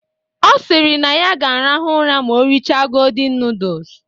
Ọ sịrị na ya arahụ ụra ma o richa godin nudus